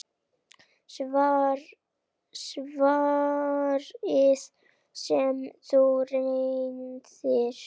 Svarið sem um ræðir